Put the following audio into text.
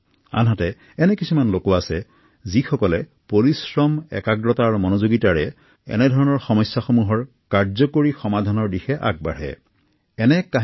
কটকৰ বস্তি অঞ্চলৰ বাসিন্দা ৰাৱে আনৰ সপোন পূৰণ কৰাৰ স্বাৰ্থতে সকলো ত্যাগ কৰিছে